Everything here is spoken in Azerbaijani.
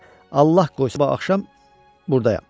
Allah qoysa sabah axşam burdayam.